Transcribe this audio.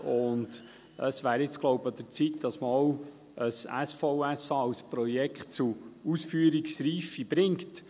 Ich glaube, es wäre jetzt an der Zeit, das SVSA als Projekt zur Ausführungsreife zu bringen.